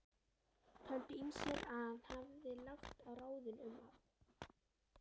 Töldu ýmsir að hann hefði lagt á ráðin um að